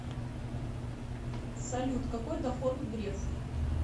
салют какой доход у грефа